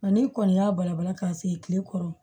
Nka n'i kɔni y'a balabala k'a se tile kɔrɔ